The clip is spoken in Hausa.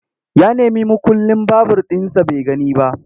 Ya nemi mukullin babur ɗinsa bai gani ba.